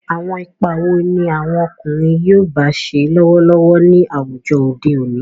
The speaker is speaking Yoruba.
Àwọn ipa wo ni àwọn ọkùnrin yoòbá ṣe lọ́wọ́lọ́wọ́ ní àwùjọ òde òní?